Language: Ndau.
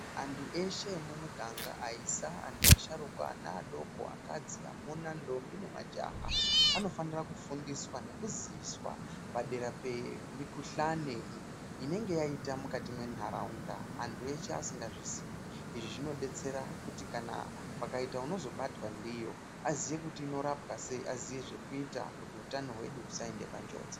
Antu eshe emumiganga aisa, antu asharukwa, ana adoko, akadzi, amuna ndombi nemajaha anofanira kufundiswa nekuziviswa padera pemikuhlane inenge yaita mukati mwenharaunda antu eshe asingazviziyi. Izvi zvinobetsera kuti kana pakaita unozobatwa ndiyo aziye kuti inorapwa sei. Aziye zvekuita kuti utano hwedu husaende panjodzi.